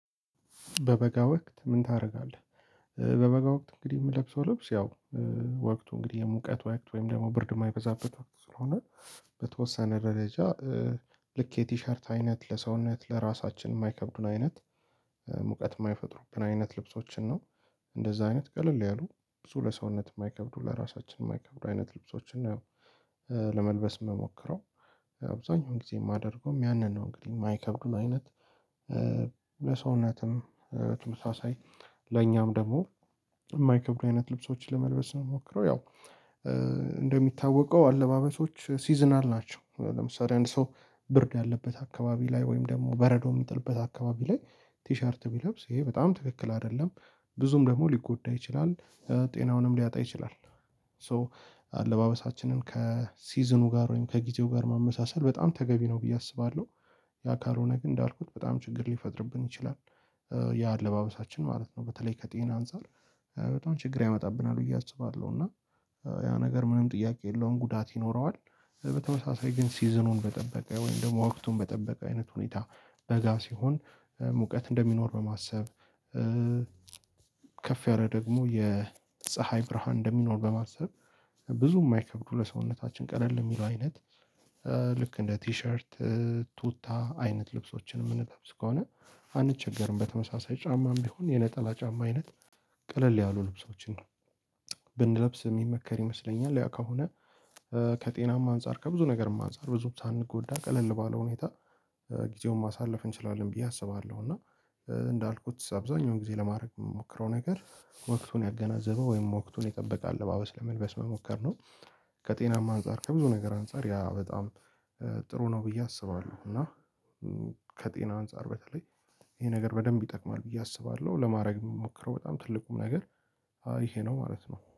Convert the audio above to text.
በበጋ ወቅት ምን ታደርጋለህ? በበጋ ወቅት እንግዲህ የምለብሰው ልብስ ያው ወቅቱ እንግዲህ የሙቀት ወቅት ወይንም ደግሞ ብርድ የማይበዛበት ወቅት ስለሆነ በተወሰነ ደረጃ ልክ የቲሸርት አይነት ለሰውነት ለራሳችን የማይከብዱን አይነት ሙቀት የማይፈጥሩብን አይነት ልብሶችን ነው እንደዛ አይነት ቀለል ያሉ ብዙ ለሰውነት የማይከብዱ ለራሳችን የማይከብዱ አይነት ልብሶችን ነው ለመልበስ የምሞክረው። አብዛኛውን ጊዜ የማደርገውም ያንን ነው እንግዲህ የማይከብዱን አይነት በሰውነትም ተመሳሳይ ለኛም ደግሞ የማይከብዱ አይነት ልብሶችን ለመልበስ ነው ምሞክረው። ያው አለባበሶች ሲዝናል ናቸው ለምሳሌ አንድ ሰው ብርድ ያለበት አካባቢ ላይ ወይም ደግሞ በረዶ የሚጥልበት አካባቢ ላይ ቲሸርት ቢለብስ ይሄ በጣም ትክክል አይደለም ብዙም ደግሞ ሊጎዳ ይችላል ጤናውንም ሊያጣ ይችላል። ሶ አለባበሳችንን ከሲዝኑ ጋር ወይም ከጊዜው ጋር ማመሳሰል በጣም ተገቢ ነው ብዬ አስባለሁ። ያ ካልሆነ ግን እንዳልኩት በጣም ችግር ሊፈጥርብን ይችላል። የአለባበሳችን ማለት ነው በተለይ ከጤና አንፃር በጣም ችግር ያመጣብናል ብዬ አስባለሁ። እና ያው ነገር ምንም ጥያቄ የለውም ጉዳት ይኖረዋል። በተመሳሳይ ግን ሲዝኑን በጠበቀ ወይም ደግሞ ወቅቱን በጠበቀ አይነት ሁኔታ በጋ ሲሆን ሙቀት እንደሚኖር በማሰብ ከፍ ያለ ደግሞ የፀሀይ ብርሃን እንደሚኖር በማሰብ ብዙም ማይከብዱ ለሰውነታችን ቀለል የሚለው አይነት ልክ እንደ ቲሸርት ቱታ አይነት ልብሶችን የምንለብስ ከሆነ አንቸገርም። በተመሳሳይ ጫማም ቢሆን የነጠላ ጫማ አይነት ቀለል ያሉ ልብሶችን ነው ብንለብስ የሚመከር ይመስለኛል። ያ ከሆነ ከጤናማ አንፃር ከብዙ ነገርም አንፃር ብዙም ሳንጎዳ ቀለል ባለ ሁኔታ ጊዜውን ማሳለፍ እንችላለን ብዬ አስባለሁ። እና እንዳልኩት አብዛኛውን ጊዜ ለማድረግ የምሞክረው ነገር ወቅቱን ያገናዘበው ወይም ወቅቱን የጠበቀ አለባበስ ለመልበስ መሞከር ነው። ከጤናማ አንፃር ከብዙ ነገር አንፃር ያ በጣም ጥሩ ነው ብዬ አስባለሁ። እና ከጤና አንፃር በተለይ ይሄ ነገር በደንብ ይጠቅማል ብዬ አስባለሁ ለማድረግ የምሞክረው በጣም ትልቁም ነገር ይሄ ነው ማለት ነው።